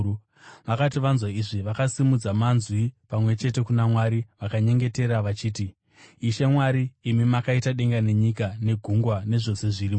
Vakati vanzwa izvi, vakasimudza manzwi pamwe chete kuna Mwari vakanyengetera vachiti, “Ishe Mwari, imi makaita denga nenyika negungwa, nezvose zvirimo.